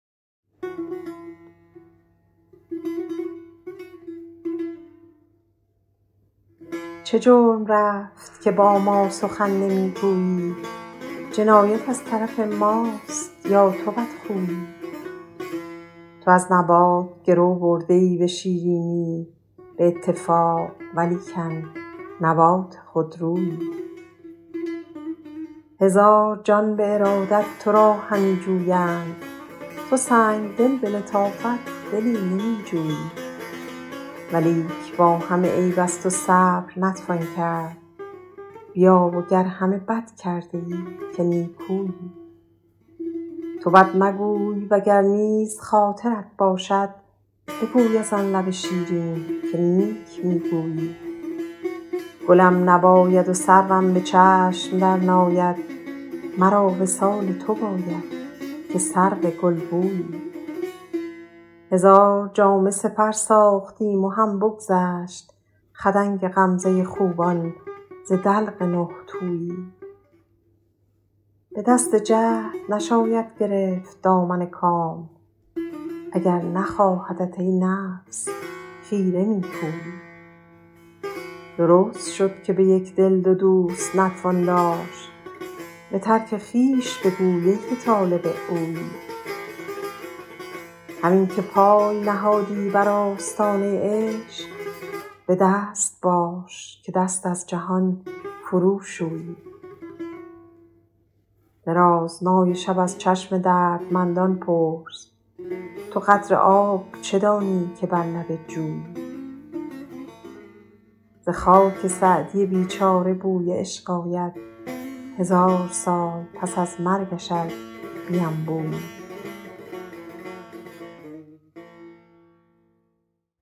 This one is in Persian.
چه جرم رفت که با ما سخن نمی گویی جنایت از طرف ماست یا تو بدخویی تو از نبات گرو برده ای به شیرینی به اتفاق ولیکن نبات خودرویی هزار جان به ارادت تو را همی جویند تو سنگدل به لطافت دلی نمی جویی ولیک با همه عیب از تو صبر نتوان کرد بیا و گر همه بد کرده ای که نیکویی تو بد مگوی و گر نیز خاطرت باشد بگوی از آن لب شیرین که نیک می گویی گلم نباید و سروم به چشم درناید مرا وصال تو باید که سرو گلبویی هزار جامه سپر ساختیم و هم بگذشت خدنگ غمزه خوبان ز دلق نه تویی به دست جهد نشاید گرفت دامن کام اگر نخواهدت ای نفس خیره می پویی درست شد که به یک دل دو دوست نتوان داشت به ترک خویش بگوی ای که طالب اویی همین که پای نهادی بر آستانه عشق به دست باش که دست از جهان فروشویی درازنای شب از چشم دردمندان پرس تو قدر آب چه دانی که بر لب جویی ز خاک سعدی بیچاره بوی عشق آید هزار سال پس از مرگش ار بینبویی